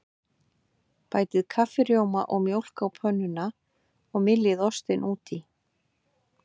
Bætið kaffirjóma og mjólk á pönnuna og myljið ostinn út í.